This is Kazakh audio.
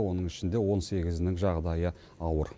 оның ішінде он сегізінің жағдайы ауыр